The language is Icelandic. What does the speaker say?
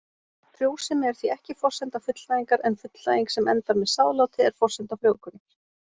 Frjósemi er því ekki forsenda fullnægingar en fullnæging sem endar með sáðláti er forsenda frjóvgunar.